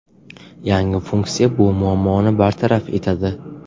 Yangi funksiya bu muammoni bartaraf etadi.